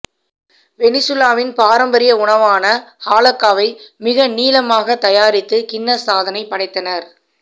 வெனிசுலாவின் பாரம்பரிய உணவான ஹாலக்காவை மிக நீளமாக தயாரித்து கின்னஸ் சாதனை படைத்தனர்